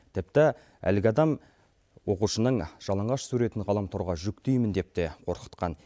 тіпті әлгі адам оқушының жалаңаш суретін ғаламторға жүктеймін деп те қорқытқан